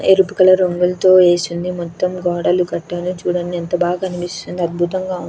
ఎరపు రంగులతో ఏసి ఉంది మొత్తము గోడలు కట్టారు చూడండి ఎంత బాగ కనిపిస్తుందో అద్భుతంగా --